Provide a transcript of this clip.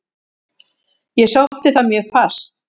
Ég sótti það mjög fast.